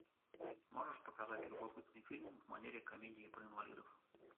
можешь показать любопытный фильм в манере комедии про инвалидов